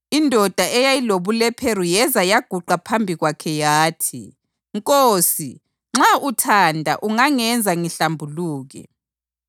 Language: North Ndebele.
Indoda eyayilobulephero yeza yaguqa phambi kwakhe yathi, “Nkosi nxa uthanda ungangenza ngihlambuluke.”